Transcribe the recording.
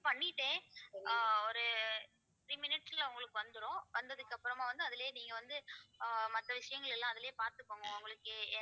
பண்ணிட்டேன் ஆஹ் ஒரு three minutes ல உங்களுக்கு வந்துரும் வந்ததுக்கு அப்புறமா வந்து அதிலயே நீங்க வந்து ஆஹ் மத்த விஷயங்கள் எல்லாம் அதிலயே பார்த்துக்கோங்க உங்களுக்கு